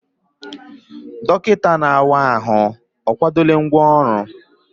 Dọkịta na-awa ahụ akwadola ngwá ọrụ?